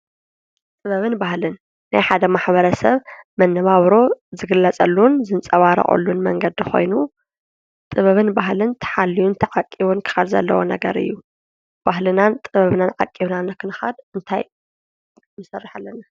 ጥበብን ባህልን ናይ ሓደ ማሕበረ ሰብ መነባብሮ ዝግለፀሉን ዘንፀባርቐሉን መንገዲ ኾይኑ ጥበብን ባህልን ተሃልዩን ተተዓቂቡን ክኻየድ ዘለዎ ነገር እዩ፡፡ ባህልናን ጥበብናን ዓቂብና ንኽንኸድ እንታይ ኽንሰርሕ ኣለና?